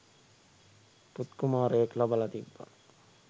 පුත්කුමාරයෙක් ලබලා තිබ්බා.